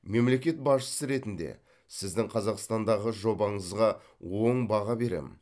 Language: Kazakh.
мемлекет басшысы ретінде сіздің қазақстандағы жобаңызға оң баға беремін